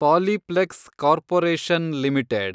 Polyplex corporation limited